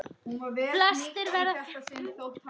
Flestir verða fjörlausn fegnir.